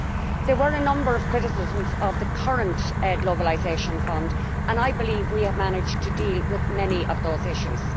There were a number of criticisms of the current globalisation fund and I believe we have managed to deal with many of those issues.